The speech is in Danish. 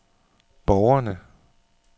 borgerne